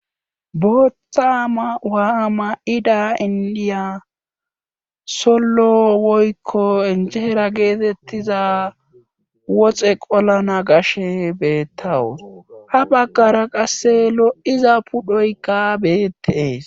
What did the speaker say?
bootthama mayiwa ma7ida indiya sollo woykko injeera geetettiza woxe qolana gashe beettawus ha baggara qasse lo7iza pudhoykka beettees